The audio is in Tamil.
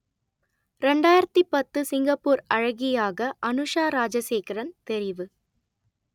ரெண்டாயிரத்தி பத்து சிங்கப்பூர் அழகியாக அனுஷா ராஜசேகரன் தெரிவு